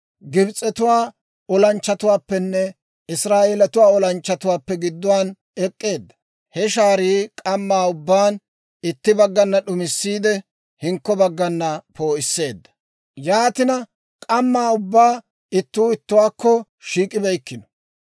Gibs'etuwaa olanchchatuwaappenne Israa'eeletuwaa olanchchatuwaappe gidduwaan ek'k'eedda. He shaarii k'amma ubbaan itti baggana d'umissiide, hinkko baggana poo'isseedda; yaatina k'amma ubbaa ittuu ittuwaakko shiik'ibeykkino.